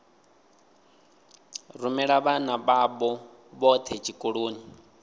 rumela vhana vhavho vhothe tshikoloni